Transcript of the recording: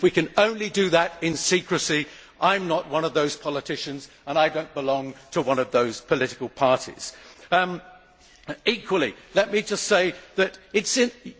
If we can only do that in secrecy, I am not one of those politicians and I do not belong to one of those political parties that concur.